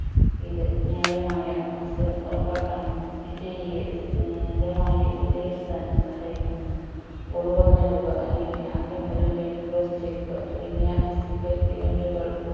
ഇത് ന്യായമായ മത്സരം ഉറപ്പാക്കാനും വിജയിയെ ഏർ ഗമായി വിലയിരുത്താനും സഹായിക്കുന്നു goal കൾ നേടുക അല്ലെങ്കിൽ ആദ്യം ഒരു line cross ചെയ്യുക തുടങ്ങിയ physical event കൾ